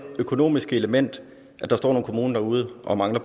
økonomiske element at der står nogle kommuner derude og mangler